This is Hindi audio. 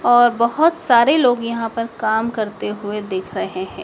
और बहोत सारे लोग यहां पर काम करते हुए दिख रहे हैं।